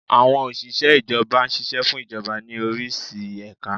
Àwọn Òsìsẹ́ Ìjọba ṣiṣẹ́ fún Ìjọba ní orísi ẹ̀ka